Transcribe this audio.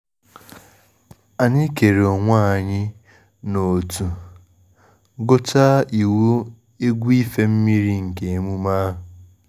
Anyị kere onwe anyị n’ọ̀tụ̀, gụchaa iwu egwu ife mmiri nke emume ahụ